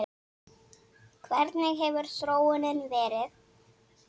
Hvernig hefur þróunin verið?